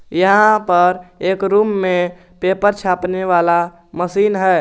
यहां पर एक रूम में पेपर छापने वाला मशीन है।